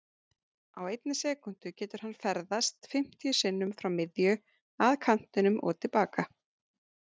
Á einni sekúndu getur hann ferðast fimmtíu sinnum frá miðju, að kantinum og til baka.